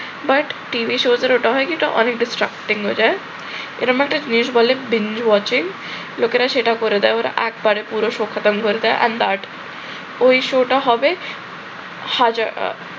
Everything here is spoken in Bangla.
but টিভি shows এর ওটা হয় কি অনেক disrupting হয়ে যায়। এরম একটা জিনিস বলে বিন্দু আছে লোকেরা সেটা করে দেয় ওরা একবারে পুরো আর but ওই show টা হবে হাজার